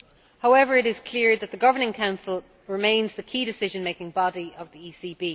However, it is clear that the Governing Council remains the key decision making body of the ECB.